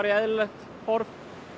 í eðlilegt horf